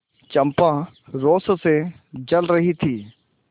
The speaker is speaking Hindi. चंपा रोष से जल रही थी